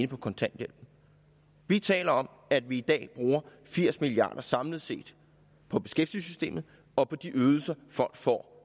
på kontanthjælp vi taler om at vi i dag bruger firs milliard kroner samlet set på beskæftigelsessystemet og på de ydelser folk får